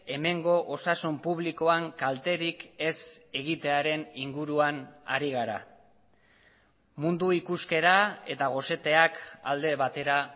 hemengo osasun publikoan kalterik ez egitearen inguruan ari gara mundu ikuskera eta goseteak alde batera